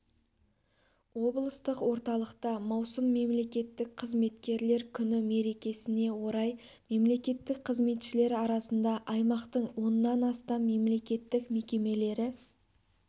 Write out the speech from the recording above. облыстық орталықта маусым мемлекеттік қызметкерлер күні мерекесіне орай мемлекеттік қызметшілер арасында аймақтың оннан астам мемлекеттік мекемелері